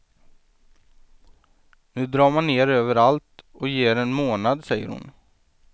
Nu drar man ner överallt och ger en månad, säger hon.